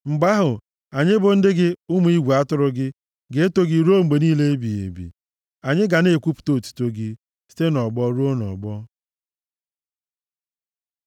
Mgbe ahụ, anyị bụ ndị gị, ụmụ igwe atụrụ gị ga-eto gị ruo mgbe niile ebighị ebi; anyị ga na-ekwupụta otuto gị, site nʼọgbọ ruo nʼọgbọ.